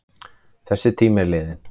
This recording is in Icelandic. Þessi tími er liðinn.